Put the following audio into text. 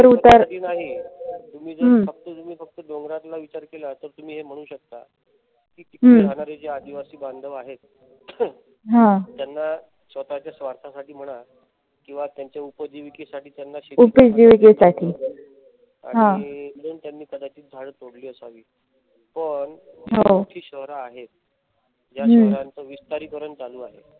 किंवा त्यांना त्यांच्या उपजीविकेसाठी आणि म्हणून त्यांनी कदाचित झाडे तोडली असावीत. पण एवढी मोठी शहर आहेत या शहरांच विस्तारीकरण चालू आहे.